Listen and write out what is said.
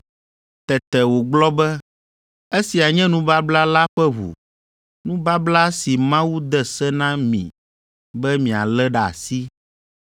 Tete wògblɔ be, “Esia nye nubabla la ƒe ʋu, nubabla si Mawu de se na mi be mialé ɖe asi.”